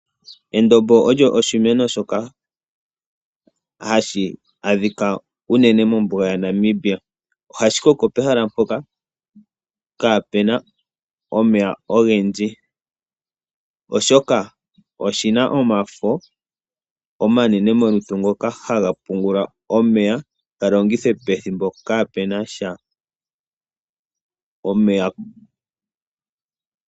Endombo olyo oshimeno shoka hashi adhika unene mombuga yaNamibia. Ohashi koko pehala mpoka kaapu na omeya ogendji, oshoka oshi na omafo omanene molutu ngoka haga pungula omeya, shi ga longithe pethimbo kaapu na sha omeya.